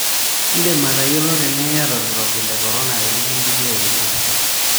Indim atayiolo tenaa iyata olkirobi le korona tinikindipi aipimo.